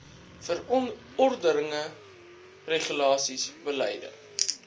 verordeninge regulasies beleide